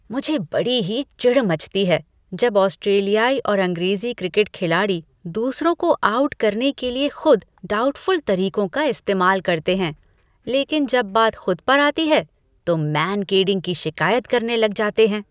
मुझे बड़ी ही चिढ़ मचती है जब ऑस्ट्रेलियाई और अंग्रेज़ी क्रिकेट खिलाड़ी दूसरों को आउट करने के लिए खुद डाउटफुल तरीकों का इस्तेमाल करते हैं, लेकिन जब बात खुद पर आती है, तो मांकडिंग की शिकायत करने लग जाते हैं।